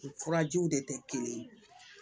U furajiw de tɛ kelen ye